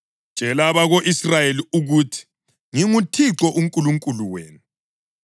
“Tshela abako-Israyeli ukuthi: ‘ NginguThixo uNkulunkulu wenu.